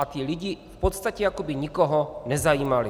A ti lidé v podstatě jako by nikoho nezajímali.